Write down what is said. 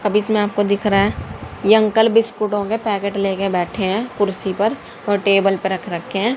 अब इसमें आपको दिख रहा है। ये अंकल बिस्कुटों के पैकेट लेकर बैठे हैं। कुर्सी पर और टेबल पर रख रखे हैं।